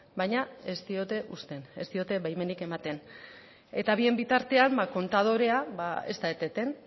baina ez diote uzten ez diote baimenik ematen eta bien bitartean kontadorea ez da eteten